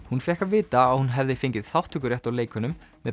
hún fékk að vita að hún hefði fengið þátttökurétt á leikunum